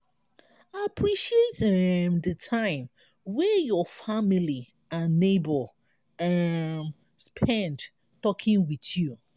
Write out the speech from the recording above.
appreciate um di time wey your family and neigbour um spend talking with you